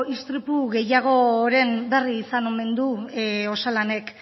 istripu gehiagoren beri izan omen du osalanek